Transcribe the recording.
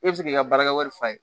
E bɛ se k'i ka baarakɛwari falen